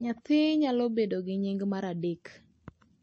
Nyathi nyalo bedo gi nying mar adek